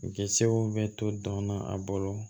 Gɛrisiw bɛ to dɔn na a bolo